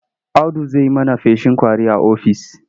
Audu zai yi mana feshin ƙwari a ofis.